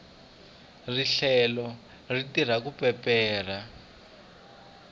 rihlelo ri tirha ku peperha